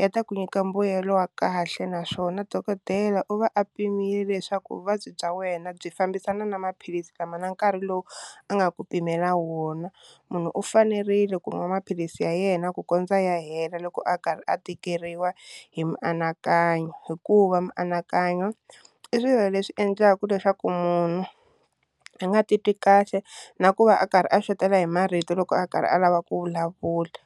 ya ta ku nyika mbuyelo wa kahle naswona dokodela u va a pimile leswaku vuvabyi bya wena byi fambisana na maphilisi lama na nkarhi lowu a nga ku pimela wona, munhu u fanerile ku nwa maphilisi ya yena ku kondza ya hela loko a karhi a tikeriwa hi mianakanyo, hikuva mianakanyo i swilo leswi endlaka leswaku munhu a nga titwi kahle na ku va a karhi a xoteriwa hi marito loko a karhi a lava ku vulavula.